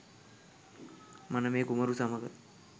මනමේ කුමරු සමඟ